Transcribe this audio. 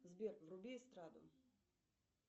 сбер вруби эстраду